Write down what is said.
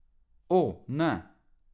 O, ne!